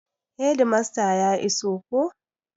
Hedimasta ya iso ko?